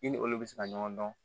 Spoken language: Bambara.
I ni olu bɛ se ka ɲɔgɔn dɔn